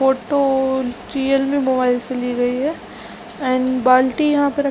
photo Realme mobile से ली गई है एंड बाल्टी यहाँ पे रख --